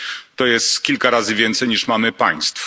To jest kilka razy więcej niż mamy państw.